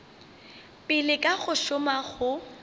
pele ka go šoma go